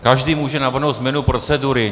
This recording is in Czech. Každý může navrhnout změnu procedury.